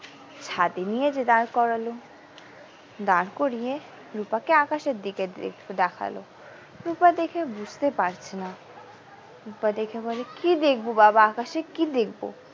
ছাদে নিয়ে যে দাঁড় করলো দাঁড় করিয়ে রুপাকে আকাশের দিকে দেখালো রুপা দেখে বুঝতে পারছে না রুপা দেখে বলে কি দেখবো বাবা আকাশে কি দেখবো।